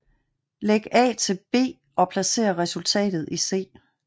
Læg A til B og placer resultatet i C